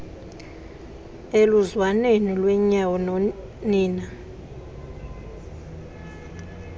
eluzwaneni lwenyawo nina